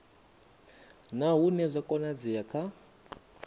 na hune zwa konadzea kha